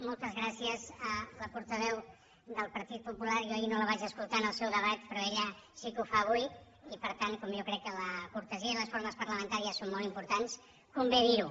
moltes gràcies a la portaveu del partit popular jo ahir no la vaig escoltar en el seu debat però ella sí que ho fa avui i per tant com jo crec que la cortesia i les formes parlamentàries són molt importants convé dir ho